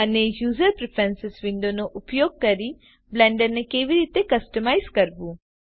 અને user preferences વિન્ડોનો ઉપયોગ કરી બ્લેન્ડરને કેવી રીતે કસ્ટમાઇઝ કરવું